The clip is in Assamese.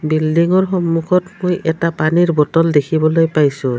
বিল্ডিংৰ সন্মুখত মই এটা পানীৰ বটল দেখিবলৈ পাইছোঁ।